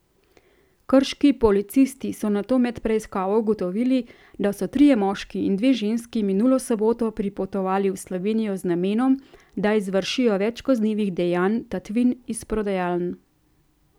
Krški policisti so nato med preiskavo ugotovili, da so trije moški in dve ženski minulo soboto pripotovali v Slovenijo z namenom, da izvršijo več kaznivih dejanj tatvin iz prodajaln.